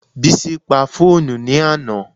Bísí pa fóònù ní àná